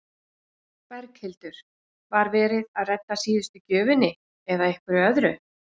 Berghildur: Var verið að redda síðustu gjöfinni eða einhverju öðru?